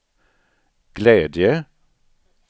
glädje